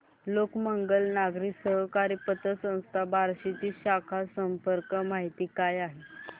लोकमंगल नागरी सहकारी पतसंस्था बार्शी ची शाखा संपर्क माहिती काय आहे